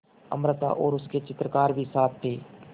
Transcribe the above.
अमृता और उसके चित्रकार भी साथ थे